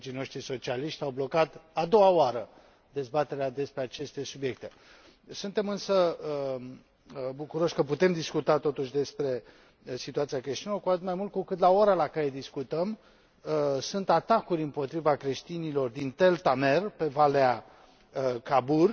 Colegii noștri socialiști au blocat a doua oară dezbaterea acestor subiecte. Suntem însă bucuroși că putem discuta totuși despre situația creștinilor, cu atât mai mult cu cât, la ora la care discutăm, sunt atacuri împotriva creștinilor din Tell Tamer, pe valea râului Khabur.